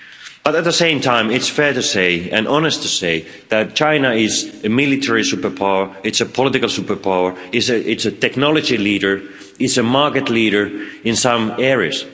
But, at the same time, it's fair to say and honest to say that China is a military superpower, it's a political superpower, it's a technology leader, and it's a market leader in some areas.